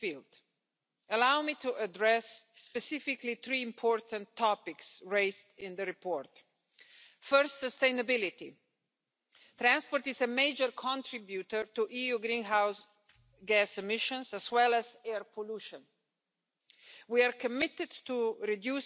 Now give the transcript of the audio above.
we are engaging with stakeholders to address some very important enabling topics such as security, data protection, fair